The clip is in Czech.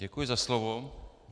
Děkuji za slovo.